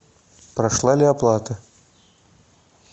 прошла ли оплата